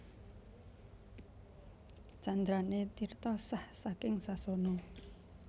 Candrané Tirta sah saking sasana